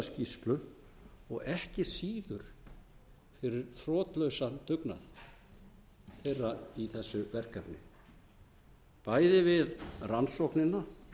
skýrslu og ekki síður fyrir þrotlausan dugnað þeirra í þessu verkefni bæði við rannsóknina